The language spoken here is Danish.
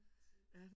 Lige præcis